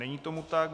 Není tomu tak.